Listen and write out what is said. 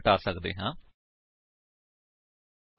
ਹੁਣ ਅਸੀ ਸਿਖਾਂਗੇ ਕਿ ਇਸ ਫਿਲਡਸ ਨੂੰ ਐਕਸੇਸ ਕਿਵੇਂ ਕਰੀਏ